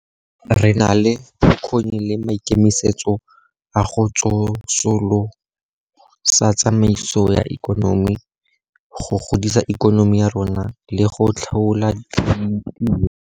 Re na le bokgoni le maikemisetso a go tsosolosa tsamaiso ya ikonomi, go godisa ikonomi ya rona le go tlhola ditiro.